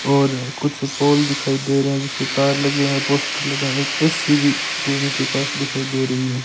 और कुछ पोल दिखाई दे रहे हैं जिसपे तार लगे हैं पोस्टर लगे हैं एक ए_सी भी रूम के पास दिखाई दे रही है।